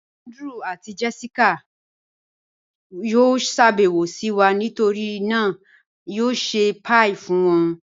Andrew àti Jessica yó ṣàbẹwo sí wa, nítorí náà a yó ṣẹ̀ pie díẹ̀ fun wọn